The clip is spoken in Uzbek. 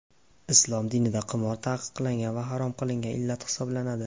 Islom dinida qimor taqiqlangan va harom qilingan illat hisoblanadi.